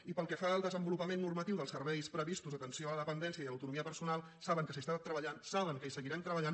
i pel que fa al desenvolupament normatiu dels serveis previstos d’atenció a la dependència i a l’autonomia personal saben que s’hi treballa saben que hi seguirem treballant